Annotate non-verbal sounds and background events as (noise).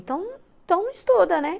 Então, então (unintelligible) estuda, né?